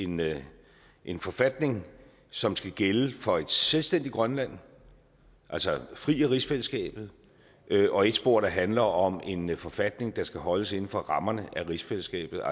med en forfatning som skal gælde for et selvstændigt grønland altså fri af rigsfællesskabet og et spor der handler om en forfatning der skal holdes inden for rammerne af rigsfællesskabet